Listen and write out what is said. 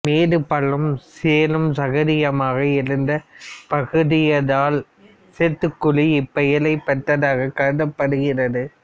மேடுபள்ளமும் சேறும் சகதியுமாக இருந்தப் பகுதியாதலால் சேத்துக்குழி இப்பெயர்ப் பெற்றதாகக் கருதப்படுகிறது